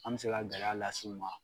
An bɛ se ka gɛlɛya lasiw ma